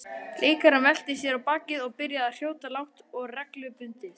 Leikarinn velti sér á bakið og byrjaði að hrjóta lágt og reglubundið.